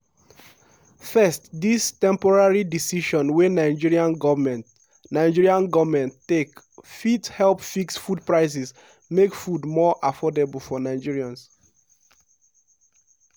"first dis temporary decision wey nigerian goment nigerian goment take fit help fix food prices make food more affordable for nigerians.